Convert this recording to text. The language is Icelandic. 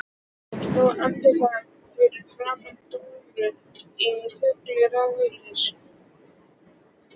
Hún stóð andartak fyrir framan Dóru í þöglu ráðleysi.